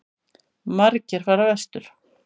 Margir fara vestur